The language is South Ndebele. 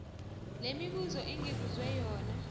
lemibuzo engibuzwe yona